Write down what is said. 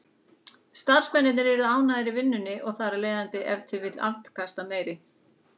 Starfsmennirnir yrðu ánægðari í vinnunni og þar af leiðandi ef til vill afkastameiri.